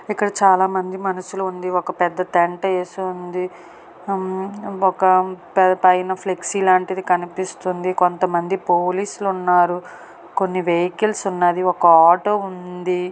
ఇక్కడ చాలామంది మనుషులు ఉంది. ఒక పెద్ద టెంట్ వేసి ఉంది ఒక పై పైన ఫ్లెక్సీ లాంటిది కనిపిస్తుంది. కొంతమంది పోలీసులు ఉన్నారు. కొన్ని వెహికల్స్ ఉన్నాది. ఒక ఆటో ఉంది.